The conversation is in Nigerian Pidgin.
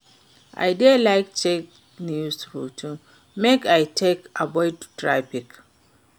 I dey like check new routes make I take avoid traffic.